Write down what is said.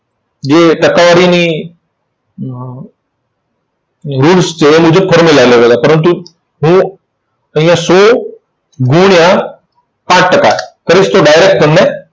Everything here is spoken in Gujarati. જે ટકાવારીની અર rules છે એ મુજબ formula અલગ અલગ. પરંતુ હું અહીંયા સો ગુણ્યાં પાંચ ટકા કરીશ તો direct તમને